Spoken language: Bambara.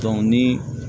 ni